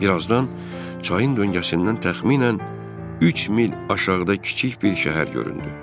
Bir azdan çayın döngəsindən təxminən üç mil aşağıda kiçik bir şəhər göründü.